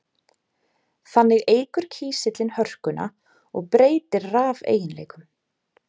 Þannig eykur kísillinn hörkuna og breytir rafeiginleikum.